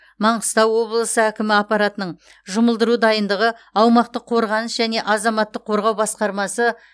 маңғыстау облысы әкімі аппаратының жұмылдыру дайындығы аумақтық қорғаныс және азаматтық қорғау басқармасы